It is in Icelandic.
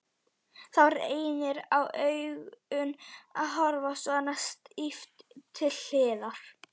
Það reynir á augun að horfa svona stíft til hliðar.